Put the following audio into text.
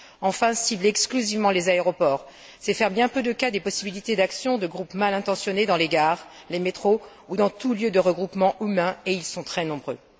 Enfin, cibler exclusivement les aéroports, c'est faire bien peu de cas des possibilités d'action de groupes mal intentionnés dans les gares, les métros ou dans tous autres lieux de regroupements humains, et ils sont très nombreux.